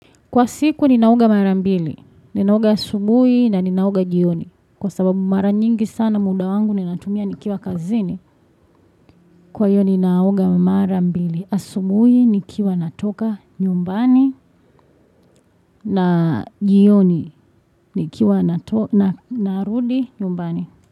Kwa siku ninaoga marambili, ninaoga asubui na ninaoga jioni. Kwa sababu mara nyingi sana muda wangu nina tumia nikiwa kazini. Kwa hiyo ninaoga marambili, asubui nikiwa natoka nyumbani na jioni nikiwa narudi nyumbani.